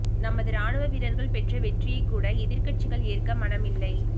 நமது ராணுவ வீரர்கள் பெற்ற வெற்றியை கூட எதிர்க்கட்சிகள் ஏற்க மனமில்லை